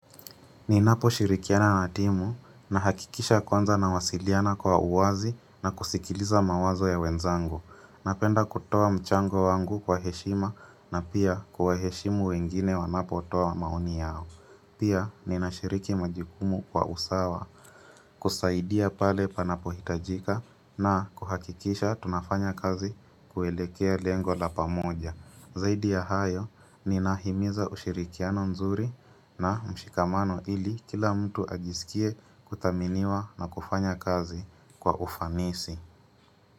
Ninapo shirikiana na timu nahakikisha kwanza nawasiliana kwa uwazi na kusikiliza mawazo ya wenzangu. Napenda kutoa mchango wangu kwa heshima na pia kuwaheshimu wengine wanapo toa maoni yao. Pia ninashiriki majukumu kwa usawa kusaidia pale panapo hitajika na kuhakikisha tunafanya kazi kuelekea lengo la pamoja. Zaidi ya hayo ninahimiza ushirikiano nzuri na mshikamano ili kila mtu ajisikie kuthaminiwa na kufanya kazi kwa ufanisi.